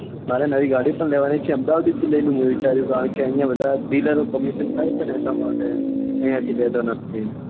audi મારે નવી ગાડી પણ લેવા ની જ છે અમદ્દાવાદ થી જ લઇ લઉં મેં વિચાર્યું કારણ કે અહિયાં બધા dealer ઓ commission ખાય છે એટલા માટે અહિયાં થી લેતા નથી